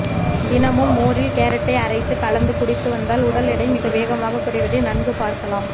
தினமும் மோரில் கேரட்டை அரைத்து கலந்து குடித்து வந்தால் உடல் எடை மிக வேகமாக குறைவதை நன்கு பார்க்கலாம்